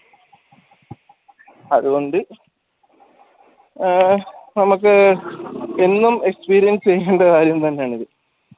അതുകൊണ്ട് ആഹ് നമുക്ക് എന്നും experience ചെയ്യേണ്ട കാര്യം തന്നെയാണ് ഇത്